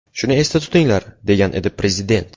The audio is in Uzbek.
Shuni esda tutinglar”, degan edi prezident.